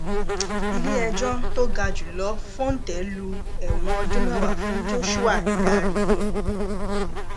iléẹjọ tó ga jù lọ fòńté lu ẹwọn ọdún mẹwàá fún joshua daríyé